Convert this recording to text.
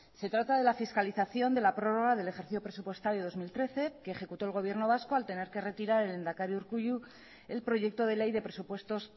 se trata de la fiscalización de la prórroga del ejercicio presupuestario dos mil trece que ejecutó el gobierno vasco al tener que retirar el lehendakari urkullu el proyecto de ley de presupuestos